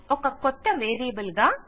ఒక కొత్త వేరియబుల్ గా